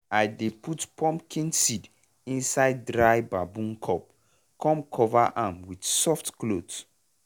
i dey put pumpkin seed inside dry bamboo cup cum cover am with soft cloth.